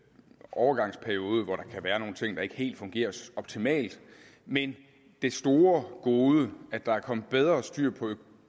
overgangsperiode hvor der kan være nogle ting der ikke helt fungerer optimalt men det store gode at der er kommet bedre styr på